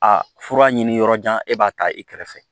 A fura ɲini yɔrɔjan e b'a ta i kɛrɛfɛ